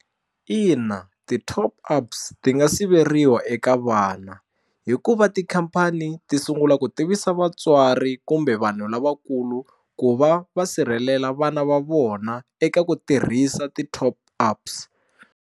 Ina ti-top ups ti nga siveriwa eka vana hikuva tikhampani ti sungula ku tivisa vatswari kumbe vanhu lavakulu ku va va sirhelela vana va vona eka ku tirhisa ti-top ups.